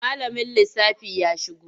Malamin lissafi ya shigo?